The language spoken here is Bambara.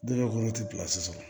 Denkɛ kɔnɔ ti sɔrɔ